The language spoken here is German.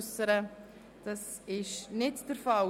– Dies ist nicht der Fall.